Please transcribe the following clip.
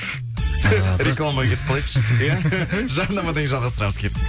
рекламаға кетіп қалайықшы иә жарнамадан кейін жалғастырамыз кеттік